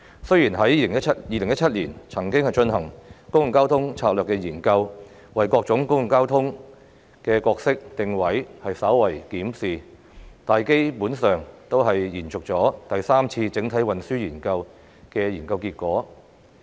雖然政府在2017年曾經進行《公共交通策略研究》，為各種公共交通工具的角色定位稍為進行檢視，但這項研究基本上只是延續第三次整體運輸研究的研究結果。